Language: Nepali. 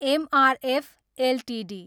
MRF Ltd